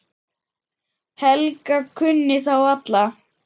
Helga kunni þá alla.